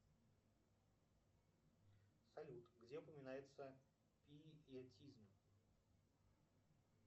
салют где упоминается пиетизм